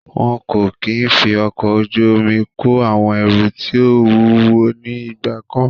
Wọn kò kí ń fi ọkọ̀ ojú omi kó àwọn ẹrù tí ó wúwo ní ìgbà kan.